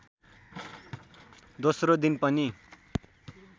दोस्रो दिन पनि